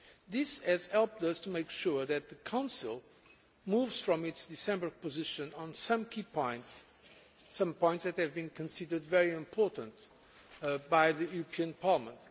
This has helped us to make sure that the Council moves from its December position on some key points, some points that have been considered very important by the European Parliament.